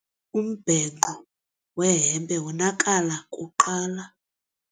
Umbhenqo wehempe wonakala kuqala.